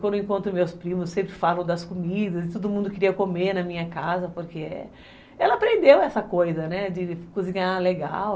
Quando encontro meus primos, sempre falo das comidas, todo mundo queria comer na minha casa, porque ela aprendeu essa coisa, né, de cozinhar legal.